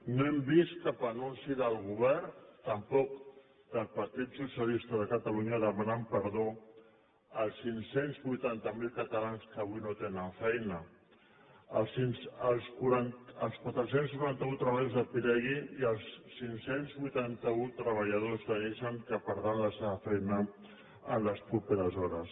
no hem vist cap anunci del govern tampoc del partit socialista de catalunya demanant perdó als cinc cents i vuitanta miler catalans que avui no tenen feina als quatre cents i noranta un treballadors de pirelli i als cinc cents i vuitanta un treballadors de nissan que perdran la seva feina en les properes hores